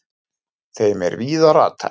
þeim er víða ratar